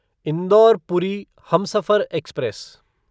indoor Puri Humsafar express